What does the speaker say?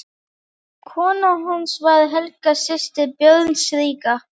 Kona hans var Helga, systir Björns ríka.